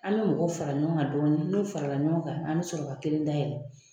An bɛ mɔgɔw fara ɲɔgɔn kan don kelen n'u farala ɲɔgɔn kan an bɛ sɔrɔ ka kelen dayɛlɛ